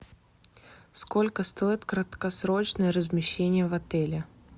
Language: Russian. сколько стоит краткосрочное размещение в отеле